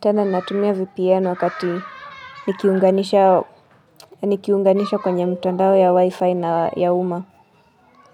Tena natumia VPN wakati nikiunganishwa kwenye mtandao ya wifi na ya uma.